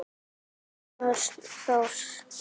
Björn Thors.